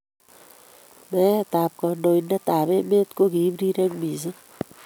Meetab kandoindetab emet kokiib rirek mising